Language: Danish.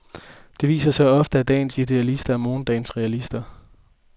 Det viser sig ofte, at dagens idealister er morgendagens realister.